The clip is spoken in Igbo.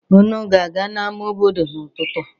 Unu ga-aga n'ama obodo n'ụtụtụ a?